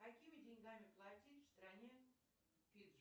какими деньгами платить в стране фиджи